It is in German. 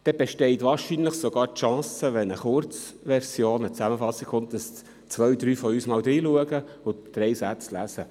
Wenn eine Kurzversion, eine Zusammenfassung kommt, besteht wahrscheinlich sogar die Chance, dass zwei, drei von uns einmal reinschauen und drei Sätze lesen.